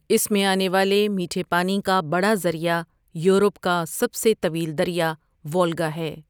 اس میں آنے والے میٹھے پانی کا بڑا ذریعہ یورپ کا سب سے طویل دریا وولگا ہے ۔